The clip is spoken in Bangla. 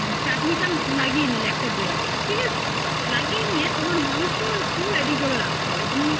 চাটনিটা লাগিয়ে নিলে একটা bread এ লাগিয়ে নিয়ে তোমার মাংস একটু ready করে রাখতে হবে